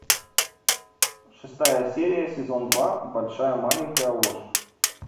шестая серия сезон два большая маленькая ложь